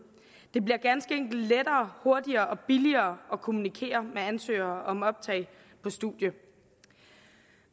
bliver ganske enkelt lettere hurtigere og billigere at kommunikere med ansøgere om optag på studierne